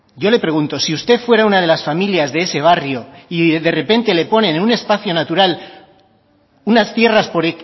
yo le pregunto si usted fuera una de las familias de ese barrio y de repente le ponen en un espacio natural unas tierras por